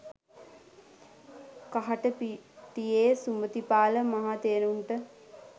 කහටපිටියේ සුමතිපාල මහා තෙරුන්ට